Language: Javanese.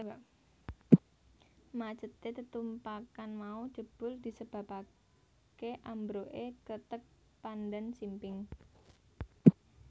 Macete tetumpakan mau jebul disebabakeambroe kreteg Pandansimping